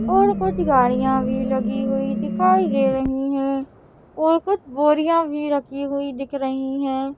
और कुछ गाड़ियां भी लगी हुई दिखाई रही हैं और कुछ बोरिया भी रखी हुई दिख रही हैं।